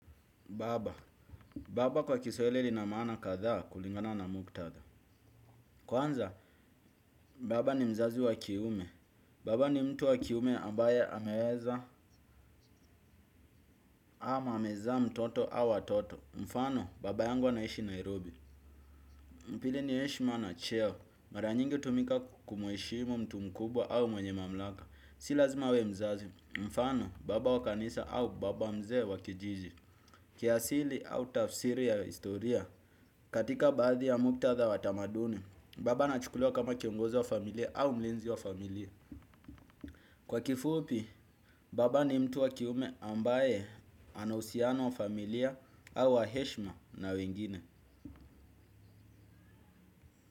Baba. Baba kwa kiswahili lina maana kadhaa kulingana na muktadha. Kwanza, baba ni mzazi wa kiume. Baba ni mtu wa kiume ambaye ameweza ama amezaa mtoto au watoto. Mfano, baba yangu anaishi Nairobi. Pili ni heshimu na cheo. Mara nyingi hutumika kumheshimu mtu mkubwa au mwenye mamlaka. Si lazima awe mzazi. Mfano, baba wa kanisa au baba mzee wa kijiji. Kiasili au tafsiri ya historia. Katika baadhi ya muktadha wa tamaduni, baba anachukuliwa kama kiongozo wa familia au mlinzi wa familia. Kwa kifupi, baba ni mtu wa kiume ambaye ana uhusiano wa familia au wa heshima na wengine.